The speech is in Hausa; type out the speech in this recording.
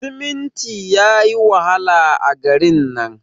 siminti yayi wahala a garin nan